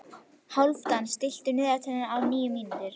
Hálfdan, stilltu niðurteljara á níu mínútur.